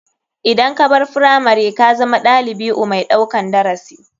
Idan kabar firamari kazama ɗalibiu mai ɗaukan darasi.